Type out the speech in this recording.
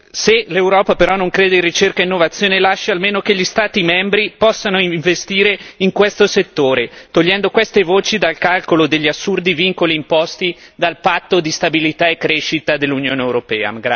Se l'Europa, però, non crede in ricerca e innovazione, lasci almeno che gli Stati membri possano investire in questo settore, togliendo queste voci dal calcolo degli assurdi vincoli imposti dal patto di stabilità e crescita dell'Unione europea.